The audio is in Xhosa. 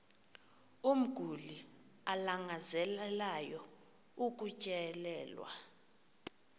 umguli alangazelelayo ukutyelelwa